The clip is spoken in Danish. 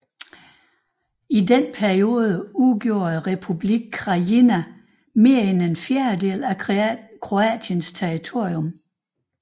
I denne periode udgjorde Republikken Krajina mere end en fjerdedel af Kroatiens territorium